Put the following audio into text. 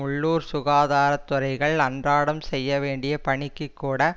உள்ளூர் சுகாதார துறைகள் அன்றாடம் செய்ய வேண்டிய பணிக்குக் கூட